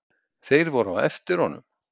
Þeir voru á eftir honum.